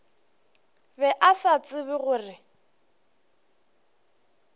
be a sa tsebe gore